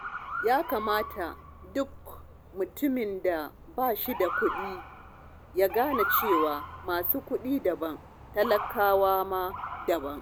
Ya kamata duk mutumin da ba shi da kuɗi ya gane cewa masu kuɗin daban, talakawa ma daban.